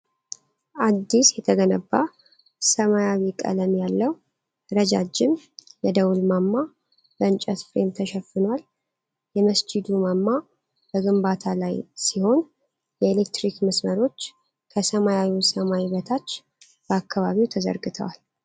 አዲስ የተገነባ ሰማያዊ ቀለም ያለው ረዣዥም የደወል ማማ በእንጨት ፍሬም ተሸፍነዏል። የመስጂዱ ማማ በግንባታ ላይ ሲሆን፣ የኤሌክትሪክ መስመሮች ከሰማያዊው ሰማይ በታች በአካባቢው ተዘርግተዋል።